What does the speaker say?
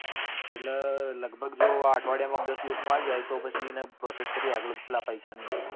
એટલે લગભગ જો આ અઠવાડિયા માં માં કે દસ દિવસ માં આવી જાય તો પછી એને process કરીએ આગળ પેલા પૈસા ની ને બધી.